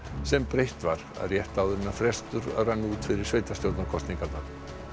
sem breytt var rétt áður en frestur rann út fyrir sveitarstjórnarkosningarnar